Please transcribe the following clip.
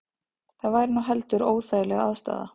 Það væri nú heldur óþægileg aðstaða